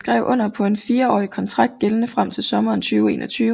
Han skrev under på en fireårig kontrakt gældende frem til sommeren 2021